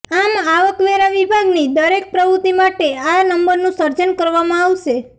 આમ આવકવેરા વિભાગની દરેક પ્રવૃત્તિ માટે આ નંબરનું સર્જન કરવામાં આવશે